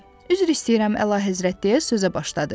Üzr istəyirəm, əlahəzrət deyə sözə başladı.